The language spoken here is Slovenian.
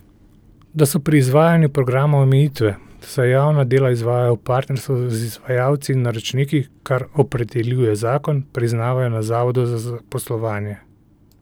Da so pri izvajanju programa omejitve, saj javna dela izvajajo v partnerstvu z izvajalci in naročniki, kar opredeljuje zakon, priznavajo na zavodu za zaposlovanje.